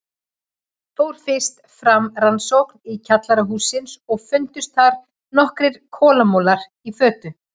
Fór fyrst fram rannsókn í kjallara hússins og fundust þar nokkrir kolamolar í fötu.